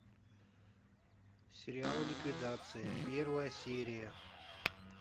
сериал ликвидация первая серия